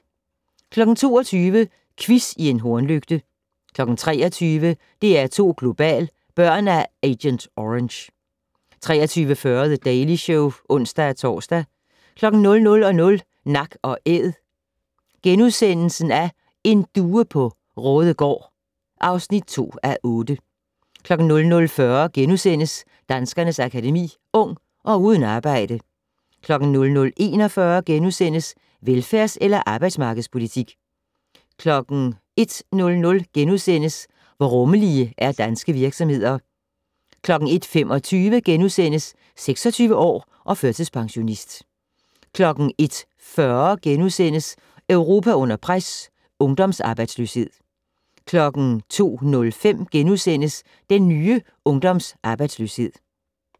22:00: Quiz i en hornlygte 23:00: DR2 Global: Børn af Agent Orange 23:40: The Daily Show (ons-tor) 00:00: Nak & Æd - en due på Raadegaard (2:8)* 00:40: Danskernes Akademi: Ung - og uden arbejde * 00:41: Velfærds- eller arbejdsmarkedspolitik? * 01:00: Hvor rummelige er danske virksomheder? * 01:25: 26 år og førtidspensionist * 01:40: Europa under pres - ungdomsarbejdsløshed * 02:05: Den nye ungdomsarbejdsløshed *